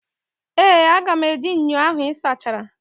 Ee, aga m eji ṅyọ ahụ ị sachara.